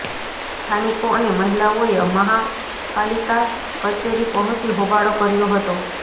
સ્થાનિકો અને મહિલાઓએ મહાપાલિકા કચેરી પહોંચી હોબાળો કર્યો હતો